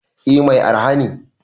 Eh Mai araha ne.